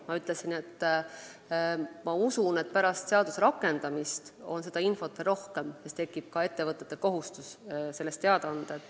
Ma ütlesin: ma usun, et pärast seaduse rakendamist on seda infot veel rohkem, sest siis tekib ettevõtetel kohustus sellest teada anda.